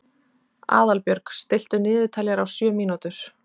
Aðalbjörg, stilltu niðurteljara á sjö mínútur.